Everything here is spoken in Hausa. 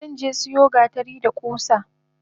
Zanje siyo gatari da kusa.